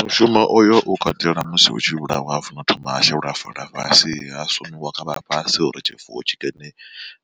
Mushumo oyo u katela musi hu tshi vhulawa hu fanela u thoma ha shelwa fola fhasi, ha sumiwa kha vhafhasi uri tshifuwo tshikene